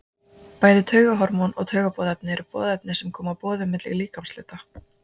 bæði taugahormón og taugaboðefni eru boðefni sem koma boðum milli líkamshluta